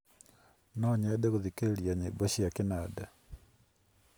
no nyende gũthikĩrĩria nyĩmbo cia kĩnanda